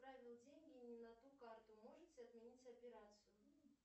отправил деньги не на ту карту можете отменить операцию